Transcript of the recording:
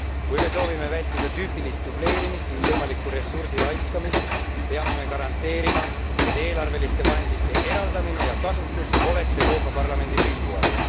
Kui me soovime vältida tüüpilist dubleerimist ning võimalikku ressursi raiskamist, peame me garanteerima, et eelarveliste vahendite eraldamine ja kasutus oleks Euroopa Parlamendi pilgu all.